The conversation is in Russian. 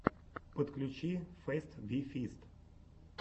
подключи фест ви фист